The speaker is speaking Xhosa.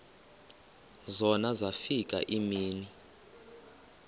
zona zafika iimini